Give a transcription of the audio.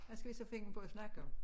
Hvad skal vi så finde på at snakke om